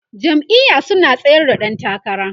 jam'iya su na tsayar da ƴan takara